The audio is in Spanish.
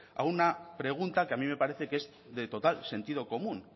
a una pregunta que a mí me parece que es de total sentido común